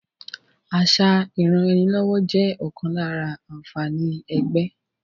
Àṣà ìranraẹnilọ́wọ́ jẹ́ ọ̀kan lára àǹfààní ẹgbẹ́